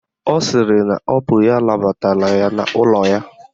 Ọ sịrị na ọ bụ ya nabatara n'ụlọ ya